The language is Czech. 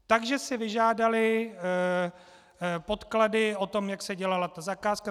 Takže si vyžádali podklady o tom, jak se dělala ta zakázka.